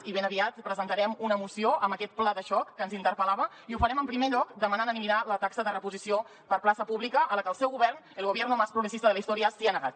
i ben aviat presentarem una moció amb aquest pla de xoc que ens interpel·lava i ho farem en primer lloc demanant eliminar la taxa de reposició per plaça pública a la que el seu govern el gobierno más progresista de la historia s’ha negat